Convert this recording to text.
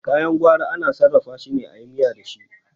Kayan gwari ana sarrafa shine ayi miya dashi